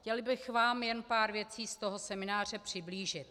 Chtěla bych vám jen pár věcí z toho semináře přiblížit.